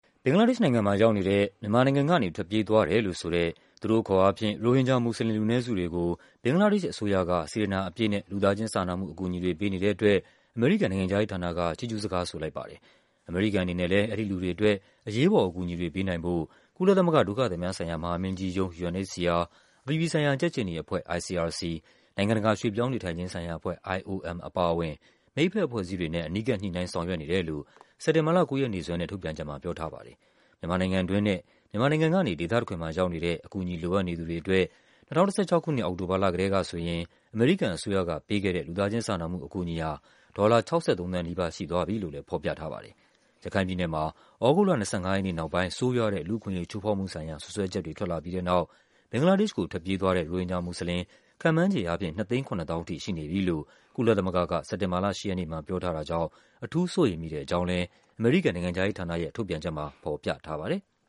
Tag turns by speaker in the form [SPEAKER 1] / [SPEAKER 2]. [SPEAKER 1] ဘင်္ဂလားဒေ့ရှ်နိုင်ငံမှာရောက်နေတဲ့ မြန်မာနိုင်ငံကနေ ထွက်ပြေးသွားတယ်လို့ဆိုတဲ့ - သူတို့အခေါ်အားဖြင့် - ရိုဟင်ဂျာမူစလင် လူနည်းစုတွေကို ဘင်္ဂလားဒေ့ရှ်အစိုးရက စေတနာအပြည့်နဲ့ လူသားချင်းစာနာမှု အကူအညီတွေ ပေးနေတဲ့အတွက် အမေရိကန် နိုင်ငံခြားရေးဌာနက ချီးကျူးစကားဆိုလိုက်ပါတယ်။ အမေရိကန်အနေနဲ့လဲ အဲဒီလူတွေအတွက် အရေးပေါ်အကူအညီတွေ ပေးနိုင်ဖို့ ကုလသမဂ္ဂ ဒုက္ခသည်များဆိုင်ရာ မဟာမင်းကြီး ရုံး UNHCR၊ အပြည်ပြည်ဆိုင်ရာ ကြက်ခြေနီအဖွဲ့ ICRC ၊ နိုင်ငံတကာ ရွှေ့ပြောင်းနေထိုင်ခြင်းဆိုင်ရာအဖွဲ့ IOM အပါအဝင် မိတ်ဘက်အဖွဲ့အစည်းတွေနဲ့ အနီးကပ် ညှိနှိုင်းဆောင်ရွက်နေတယ်လို့ စက်တင်ဘာလ ၉ ရက်နေ့စွဲနဲ့ ထုတ်ပြန်ချက်မှာ ပြောထား ပါတယ်။ မြန်မာနိုင်ငံတွင်းနဲ့ မြန်မာနိုင်ငံကနေ ဒေသတခွင်မှာရောက်နေတဲ့ အကူအညီလိုအပ်နေ သူတွေအတွက် ၂၀၁၆ ခုနှစ် အောက်တို ဘာလကတည်းကဆိုရင် အမေရိကန်အစိုးရက ပေးခဲ့တဲ့ လူသားချင်းစာနာမှု အကူအညီဟာ ဒေါ်လာ ၆၃ သန်းနီးပါး ရှိသွားပြီလို့လည်း ဖော်ပြထားပါတယ်။ ရခိုင်ပြည်နယ်မှာ သြဂုတ်လ ၂၅ ရက်နေ့နောက်ပိုင်း ဆိုးရွားတဲ့ လူ့အခွင့်အရေး ချိုးဖောက်မှု ဆိုင်ရာ စွပ်စွဲချက်တွေ ထွက်လာပြီးတဲ့နောက် ဘင်္ဂလားဒေ့ရှ်ကို ထွက်ပြေး သွားတဲ့ ရိုဟင်ဂျာမူစလင် ခန့်မှန်းခြေအားဖြင့် ၂၇၀,၀၀၀ ထိ ရှိနေပြီလို့ ကုလသမဂ္ဂက စက်တင်ဘာလ ၈ ရက်နေ့မှာ ပြောထားတာကြောင့် အထူးစိုးရိမ်မိတဲ့အကြောင်းလဲ အမေရိကန်နိုင်ငံခြားရေးဌာနရဲ့ ထုတ်ပြန်ချက်မှာ
[SPEAKER 2] ဖော်ပြထားပါတယ်။